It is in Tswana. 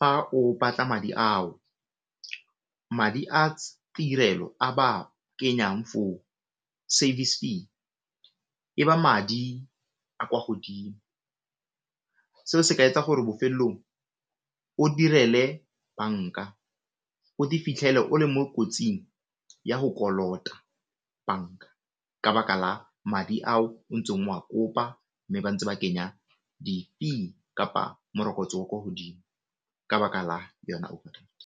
fa o batla madi ao, madi a tirelo a ba kenyang for service fee e ba madi a kwa godimo, seo se ka etsa gore bofelong o direle banka o te fitlhele o le mo kotsing ya go kolota banka ka baka la madi ao o ntseng o a kopa mme ba ntse ba kenya di fee kapa morokotso o o kwa godimo ka baka la yona overdraft.